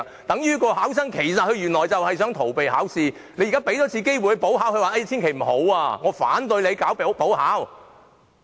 等於上述考生原來就是想逃避考試，即使你現在給他一次機會補考，他也極力拒絕，反對進行補考。